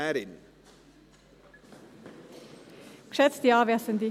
Ich gebe das Wort der Motionärin.